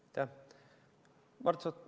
Aitäh!